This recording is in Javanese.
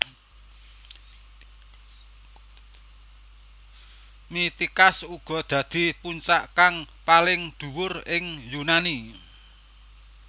Mitikas uga dadi puncak kang paling dhuwur ing Yunani